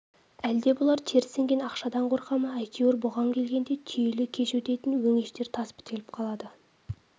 әлде бұлар тер сіңген ақшадан қорқа ма әйтеуір бұған келгенде түйелі көш өтетін өңештер тас бітеліп қалды